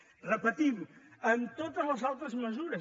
ho repetim en totes les altres mesures